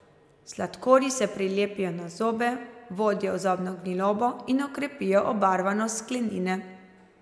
Sladkorji se prilepijo na zobe, vodijo v zobno gnilobo in okrepijo obarvanost sklenine.